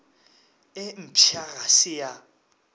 e mpšha ga se ya